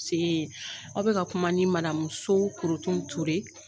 Aw be ka kuma ni madamu So Korotumu Ture